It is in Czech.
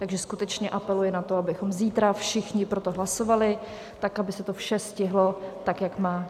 Takže skutečně apeluji na to, abychom zítra všichni pro to hlasovali tak, aby se to vše stihlo tak, jak má.